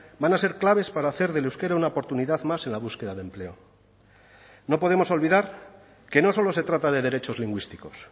van a ser claves para hacer del euskera una oportunidad más en la búsqueda de empleo no podemos olvidar que no solo se trata de derechos lingüísticos